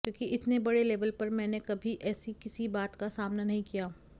क्योंकि इतने बड़े लेवल पर मैंने कभी ऐसी किसी बात का सामना नहीं किया